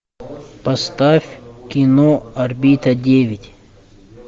поставь кино орбита девять